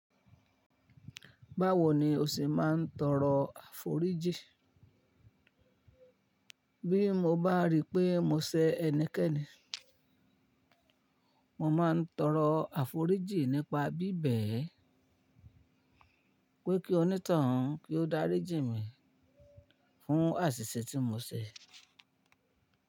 Báwo ni o ṣẹ máa ń tọrọ àforíjì? Bí mo bá rí pé mo ṣẹ́ ẹnikẹ́ni, mo máa ń tọrọ àforíjì nípa bíbẹ̀ ẹ́ pé kí oní to un kí ó dáríjì mi fún àṣìṣe tí mo ṣe.